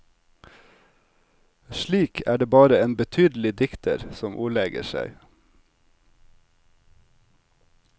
Slik er det bare en betydelig dikter som ordlegger seg.